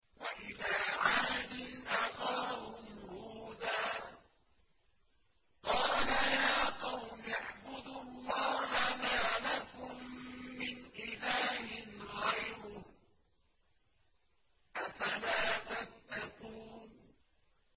۞ وَإِلَىٰ عَادٍ أَخَاهُمْ هُودًا ۗ قَالَ يَا قَوْمِ اعْبُدُوا اللَّهَ مَا لَكُم مِّنْ إِلَٰهٍ غَيْرُهُ ۚ أَفَلَا تَتَّقُونَ